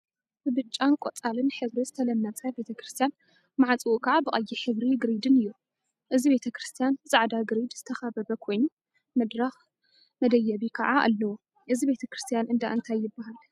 ብብጫን ቆፃልን ሕብሪ ዝተለመፀ ቤተ ክርስትያን ማዕፅኡ ከዓ ብቀይሕ ሕብሪ ግሪድን እዩ፡፡ እዚ ቤተ ክርስትያን ብፃዕዳ ግሪድ ዝተካበበ ኮይኑ፤ መድረክ መደየቢ ከዓ አለዎ፡፡ እዚ ቤተ ክርስትያን እንዳ እንታይ ይበሃል?